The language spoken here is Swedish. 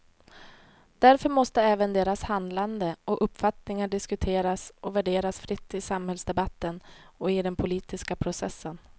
Därför måste även deras handlande och uppfattningar diskuteras och värderas fritt i samhällsdebatten och i den politiska processen.